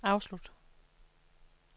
afslut